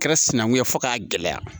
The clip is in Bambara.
Kɛra sinankunya ye fo k'a gɛlɛya